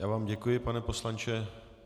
Já vám děkuji, pane poslanče.